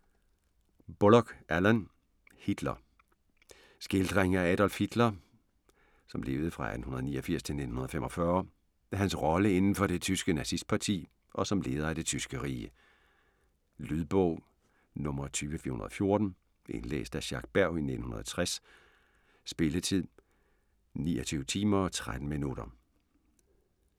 Bullock, Alan: Hitler Skildring af Adolf Hitler (1889-1945), hans rolle indenfor det tyske nazistparti og som leder af det tyske rige. Lydbog 20414 Indlæst af Jacques Berg, 1960. Spilletid: 29 timer, 13 minutter.